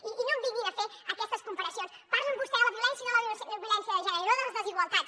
i no em vinguin a fer aquestes comparacions parlen vostès de la violència i no de la violència de gènere i no de les desigualtats